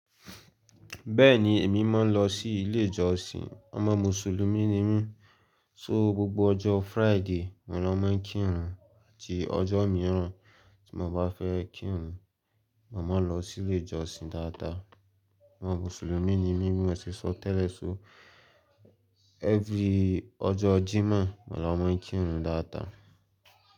Bẹ́ẹ̀ni èmi máa ń lọ sí ilé ìjọsìn. Ọmọ mùsùlùmí ni mí. So gbogbo ọjọ́ Friday mo ni wọ́n máa ń kírun àti ọjọ́ mìíràn tí mo bá fẹ́ kírun. Mo máa lọ sí ilé ìjọsìn dáadáa. Ọmọ mùsùlùmí ni mí bí mo ṣe sọ tẹ́lẹ̀ so. Every ọjọ́ Jímọ̀ mo la máa ń kírun dáadáa.